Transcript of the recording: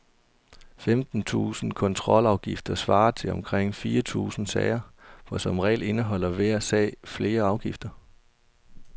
Femten tusinde kontrolafgifter svarer til omkring fire tusinde sager, for som regel indeholder hver sag flere afgifter.